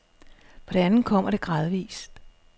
For det andet kommer det gradvis.